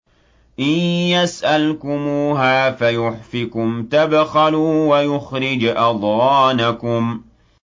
إِن يَسْأَلْكُمُوهَا فَيُحْفِكُمْ تَبْخَلُوا وَيُخْرِجْ أَضْغَانَكُمْ